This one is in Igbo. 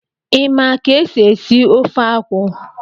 Ị ma ka esi ofe akwụ?